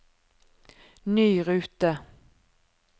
ny rute